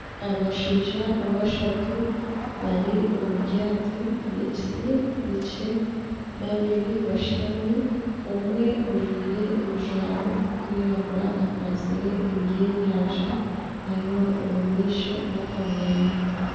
Abashaija bashatu bari omu ryaato ry'ekiti rikye babiri bashutami omwe ajwaire ebijwaro birikwiragura akwatsire ebyenyanja nareeba omumaisho n'akamwenyo.